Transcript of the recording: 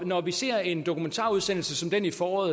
når vi ser en dokumentarudsendelse som den i foråret